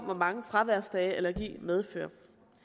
hvor mange fraværsdage allergi medfører